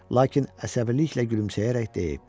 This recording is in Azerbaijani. Lakin əsəbiliklə gülümsəyərək deyib: